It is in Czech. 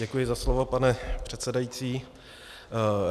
Děkuji za slovo, pane předsedající.